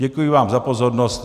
Děkuji vám za pozornost.